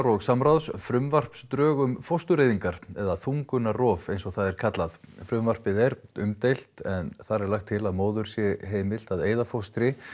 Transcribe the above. og samráðs frumvarpsdrög um fóstureyðingar eða þungunarrof eins og það er kallað frumvarpið er umdeilt en þar er lagt til að móður sé heimilt að eyða fóstri